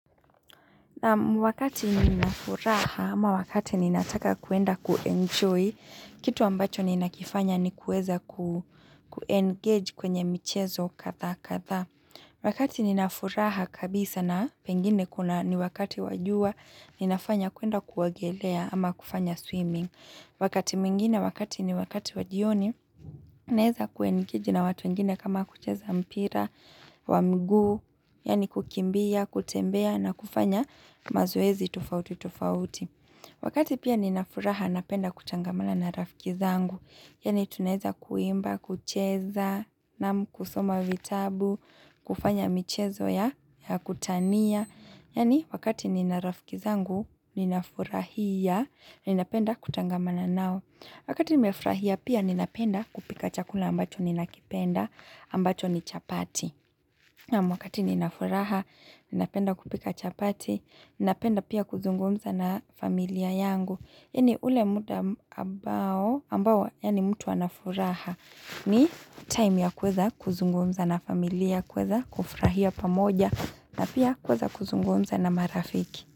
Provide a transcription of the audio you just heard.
Wakati ninafuraha ama wakati ninataka kuenda kuenjoy, kitu ambacho ninakifanya ni kueza ku-engage kwenye michezo katha katha. Wakati ninafuraha kabisa na pengine kuna ni wakati wajua, ninafanya kuenda kuogelea ama kufanya swimming. Wakati mwingine wakati ni wakati wajioni, naeza kuengiji na watu mingine kama kucheza mpira, wamguu, yani kukimbia, kutembea na kufanya mazoezi tufauti tufauti. Wakati pia ninafuraha napenda kutangamala na rafikizangu, yani tuneza kuimba, kucheza, na kusoma vitabu, kufanya michezo ya kutania. Yani wakati nina rafikizangu, nina furahia, nina penda kutangamana nao. Wakati nina furahia pia nina penda kupika chakula ambacho nina kipenda, ambacho ni chapati. Mwakati nina furaha, nina penda kupika chapati, nina penda pia kuzungumza na familia yangu. Ini ule muda ambao ambao yani mtu wanafuraha ni time ya kweza kuzungumza na familia kweza kufrahia pamoja na pia kweza kuzungumza na marafiki.